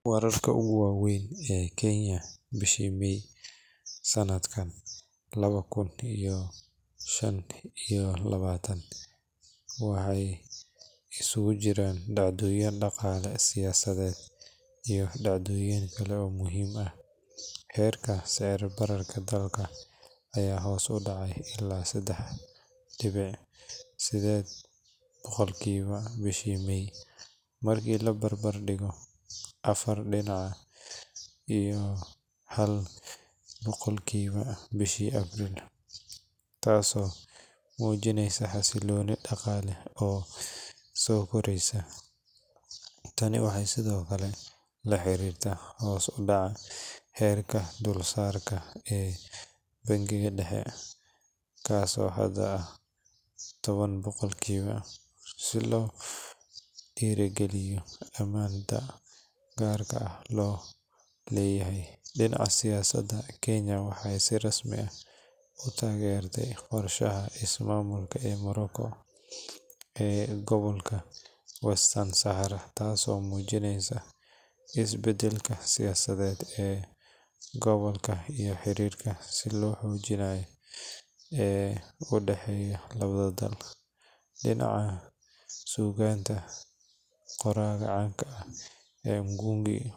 Waararka ugu wa weyn kenya sanadkan, waxeey isku jiraan dacdoyin siyasadeed iyo kuwa kale, heerka sicir bararka ayaa hoos udacay, taas oo mujineyso xasilooni daqaale, waxeey la xariirta hoos udacada heerka kor saarka, dinaca siyasada kenya waxeey tagerte ismamulka qorshaha Morocco, dinaca suuganta qoraaka caanka ee mgungi.